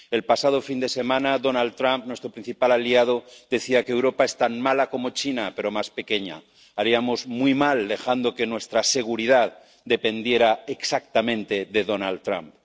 El pasado fin de semana, Donald Trump, nuestro principal aliado, decía que Europa es tan mala como China, pero más pequeña haríamos muy mal dejando que nuestra seguridad dependiera exactamente de Donald Trump.